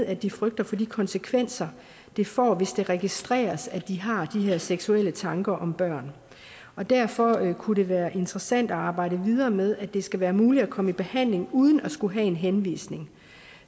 at de frygter for de konsekvenser det får hvis det registreres at de har de her seksuelle tanker om børn derfor kunne det være interessant at arbejde videre med at det skal være muligt at komme i behandling uden at skulle have en henvisning